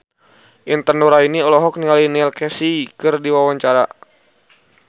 Intan Nuraini olohok ningali Neil Casey keur diwawancara